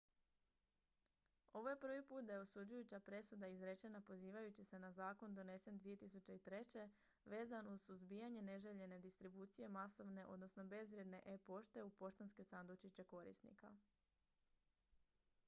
ovo je prvi put da je osuđujuća presuda izrečena pozivajući se na zakon donesen 2003. vezan uz suzbijanje neželjene distribucije masovne odnosno bezvrijedne e-pošte u poštanske sandučiće korisnika